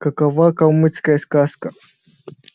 какова калмыцкая сказка